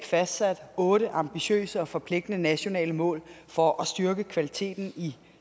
fastsat otte ambitiøse og forpligtende nationale mål for at styrke kvaliteten i